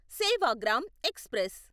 Sevagram express